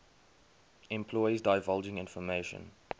employees divulging information